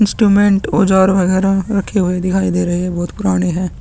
Instrument औज़ार वगैरा रखे हुए दिखाई दे रहै है बहुत पुराने है ।